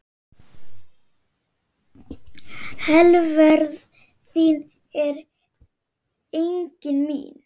Velferð þín er einnig mín.